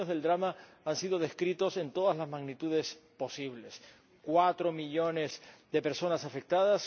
Los términos del drama han sido descritos en todas las magnitudes posibles cuatro millones de personas afectadas